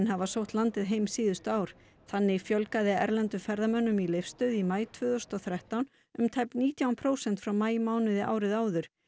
hafa sótt landið heim síðustu ár þannig fjölgaði erlendum ferðamönnum í Leifsstöð í maí tvö þúsund og þrettán um tæp nítján prósent frá maímánuði árið áður